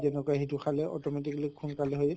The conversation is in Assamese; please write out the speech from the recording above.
যেনকা সেইটো খালে automatically সোনকালে হয়